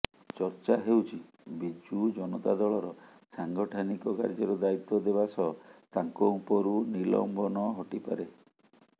ଚର୍ଚ୍ଚା ହେଉଛି ବିଜୁ ଜନତା ଦଳର ସାଂଗଠାନିକ କାର୍ଯ୍ୟର ଦାୟି୍ତ୍ୱ ଦେବା ସହ ତାଙ୍କ ଉପରୁ ନିଲମ୍ବନ ହଟିପାରେ